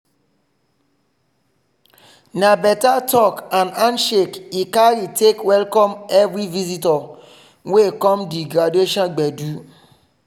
na better talk and handshake he carry take welcome everi visitor wey come di graduation gbedu.